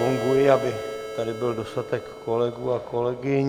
Zagonguji, aby tady byl dostatek kolegů a kolegyň.